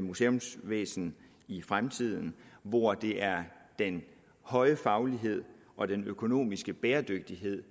museumsvæsen i fremtiden hvor det er den høje faglighed og den økonomiske bæredygtighed